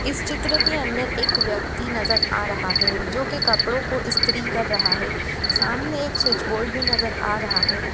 इस चित्र के अंदर एक व्यक्ति नजर आ रहा हैं जो के कपड़ो को इस्त्री कर रहा हैं सामने एक स्विच बोर्ड भी नजर आ रहा हैं।